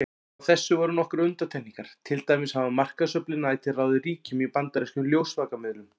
Frá þessu voru nokkrar undantekningar, til dæmis hafa markaðsöflin ætíð ráðið ríkjum í bandarískum ljósvakamiðlum.